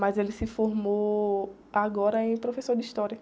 Mas ele se formou agora em professor de história.